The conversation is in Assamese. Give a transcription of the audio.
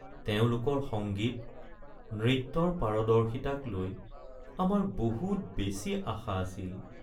তেওঁলোকৰ সংগীত, নৃত্যৰ পাৰদৰ্শিতাক লৈ আমাৰ বহুত বেছি আশা আছিল।